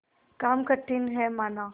काम कठिन हैमाना